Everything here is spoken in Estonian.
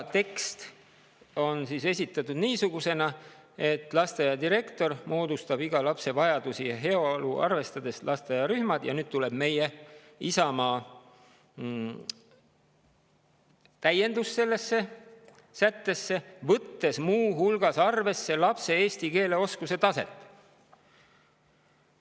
Tekst oli esitatud niisugusena: lasteaia direktor moodustab iga lapse vajadusi ja heaolu arvestades lasteaiarühmad – ja nüüd tuleb meie, Isamaa täiendus sellesse sättesse –, võttes muu hulgas arvesse lapse eesti keele oskuse taset.